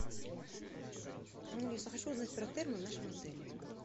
алиса хочу узнать про термы в нашем отеле